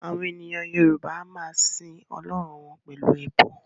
Àwọn ènìyàn Yorùbá a máa sin àwọn Ọlọ́run wọn pẹ̀lú ẹbọ